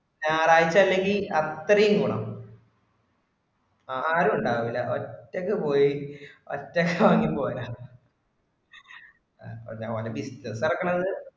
ഞായറാഴ്ച അല്ലെങ്കിൽ അത്രേം ഗുണം. ആരും ഉണ്ടാവില്ല ഒറ്റയ്ക്ക് പോയി ഒറ്റക്ക് വാങ്ങി പോരാം അത് ഓരോത്തരുടെ ഇഷ്ടം തുറക്കണത്